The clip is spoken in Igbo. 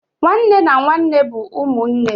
Ụmụ nwanne na ụmụ nwanne bụ ụmụ ụmụnne